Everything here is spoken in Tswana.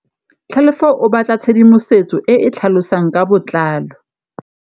Tlhalefô o batla tshedimosetsô e e tlhalosang ka botlalô.